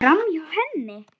Framhjá henni.